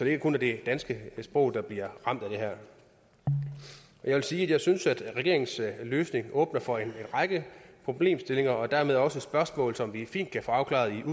ikke kun er det danske sprog der bliver ramt af det her jeg vil sige at jeg synes regeringens løsning åbner for en række problemstillinger og dermed også spørgsmål som vi fint kan få afklaret